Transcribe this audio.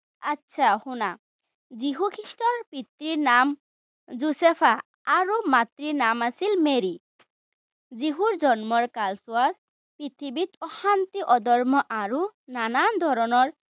আটছা শুনা। যীশু খ্ৰীষ্টৰ পিতৃৰ নাম জোচেফ আৰু মাতৃৰ নাম আছিল মেৰী। যীশুৰ জন্মৰ কালচোৱাত পৃথিৱীত অশান্তি, অধৰ্ম আৰু নানান ধৰণৰ